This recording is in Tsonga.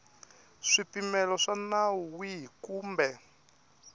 swipimelo swa nawu wihi kumbe